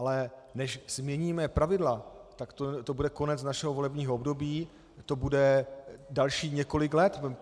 Ale než změníme pravidla, tak to bude konec našeho volebního období, to bude dalších několik let.